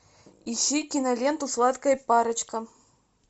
ищи киноленту сладкая парочка